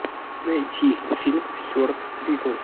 найти фильм стюарт литтл